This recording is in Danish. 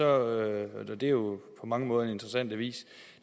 og det er jo på mange måder en interessant avis